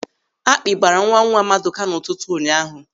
Àkpị́ gbaara nwanwa Maduka n'ụtụtụ ụnyaahụ.